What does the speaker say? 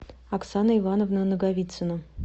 оксана ивановна наговицина